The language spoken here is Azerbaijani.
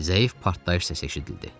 Zəif partlayış səsi eşidildi.